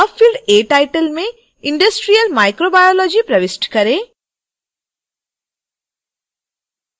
field a title में industrial microbiology प्रविष्ट करें